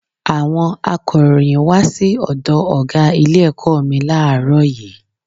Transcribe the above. Àwọn akọ̀ròyìn wá sí ọ̀dọ̀ ọ̀gá ilé ẹ̀kọ́ mi láàárò yìí